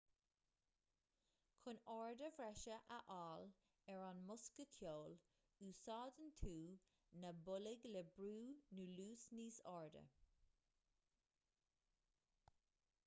chun airde bhreise a fháil ar an mbosca ceoil úsáideann tú na boilg le brú nó luas níos airde